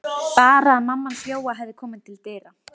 Bara að mamma hans Jóa hefði komið til dyra.